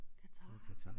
Qatar